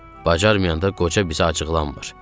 Bacarmayanda qoca bizi acıqlamır.